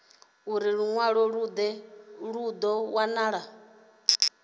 ulu lunwalo lu do wanala